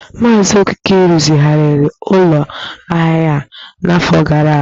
Maazị Okeke rụzigharịrị ụlọ ahịa a n’afọ gara aga.